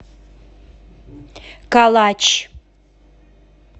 калач